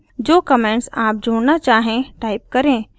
जो कमेंट्स आप जोड़ना चाहें टाइप करें